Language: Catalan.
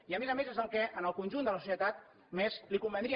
i a més a més és el que en el conjunt de la societat més li convindria